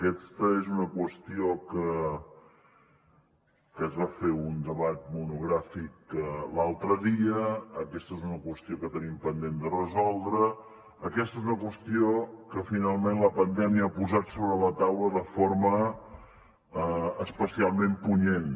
aquesta és una qüestió que se’n va fer un debat monogràfic l’altre dia aquesta és una qüestió que tenim pendent de resoldre aquesta és una qüestió que finalment la pandèmia ha posat sobre la taula de forma especialment punyent